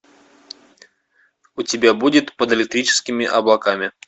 у тебя будет под электрическими облаками